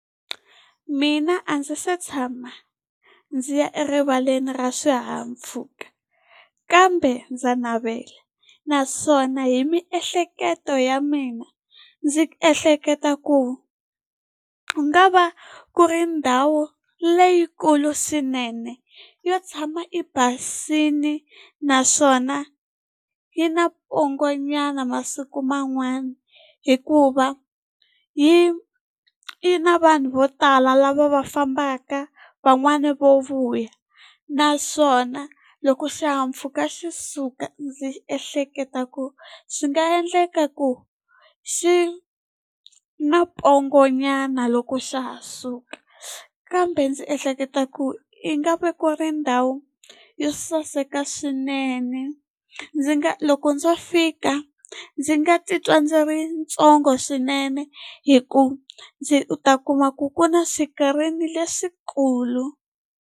Mina a ndzi se tshama ndzi ya erivaleni ra swihahampfhuka, kambe ndza navela. Naswona hi miehleketo ya mina, ndzi ehleketa ku ku nga va ku ri ndhawu leyikulu swinene. Yo tshama yi basile naswona yi na pongonyana masiku man'wana hikuva yi yi na vanhu vo tala lava va fambaka, van'wani vo vuya. Naswona loko xihahampfhuka xi suka ndzi ehleketa ku xi nga endleka ku xi na pongonyana loko xa ha suka. Kambe ndzi ehleketa ku yi nga vekiwa ri ndhawu yo saseka swinene. Ndzi ni nga loko ndzo fika ndzi nga titwa ndzi ri ntsongo swinene, hikuva ndzi u ta kuma ku ku na swikarini leswikulu.